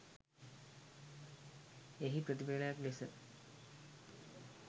එහි ප්‍රතිපලයක් ලෙස